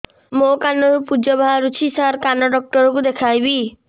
ମୋ କାନରୁ ପୁଜ ବାହାରୁଛି ସାର କାନ ଡକ୍ଟର କୁ ଦେଖାଇବି